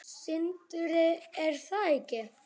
Sindri: Er það ekki?